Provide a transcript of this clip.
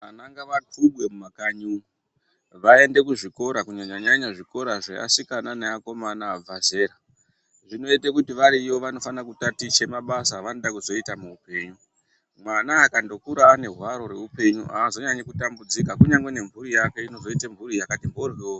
Vana ngavakubwe mumukanyi umu vaende kuzvikora kunyanya -nyannya zvevasikana neakomana abva zera. Zvinoite kuti variyo vanofana kutaticha mabasa avanoda kuzoita muupenyu. Mwana akandokura ane hwaro reupenyu hazonyanyi kutambudzika kunyangwe nemhuri yake inozoite mhuri yakati mhoryo.